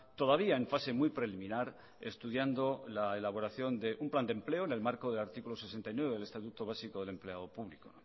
todavía en fase muy preliminar estudiando la elaboración de un plan de empleo en el marco de artículo sesenta y nueve del estatuto básico del empleado público